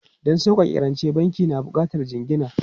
Don sauƙaƙe rance, banki na buƙatar jingina.